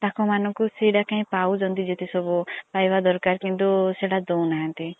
ତାଙ୍କ ମାନଙ୍କ ପାଉଛନ୍ତି ସେଇ ଟା ପାଇବା ଦରକାର କିନ୍ତୁ ସେଇଟା ଦେଉନାହାନ୍ତି।